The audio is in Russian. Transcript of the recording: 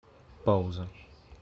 пауза